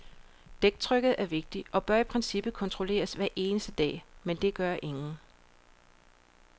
Dæktrykket er vigtigt, og bør i princippet kontrolleres hver eneste dag, men det gør ingen.